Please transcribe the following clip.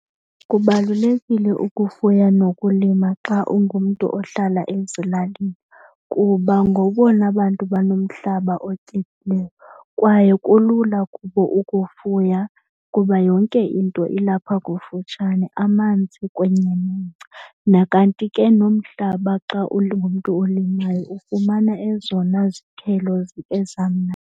Kubalulekile ukufuya nokulima xa ungumntu ohlala ezilalini kuba ngobona bantu banomhlaba otyebileyo. Kwaye kulula kubo ukufuya kuba yonke into ilapha kufutshane, amanzi kunye nengca nakanti ke nomhlaba xa ungumntu olimayo ufumana ezona zithelo .